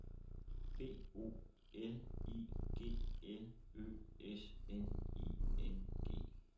B O L I G L Ø S N I N G